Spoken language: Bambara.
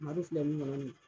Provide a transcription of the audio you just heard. Madu filɛ min kɔnɔ nin